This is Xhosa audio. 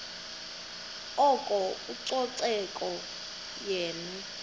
oko ucoceko yenye